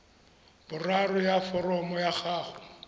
boraro ya foromo ya gago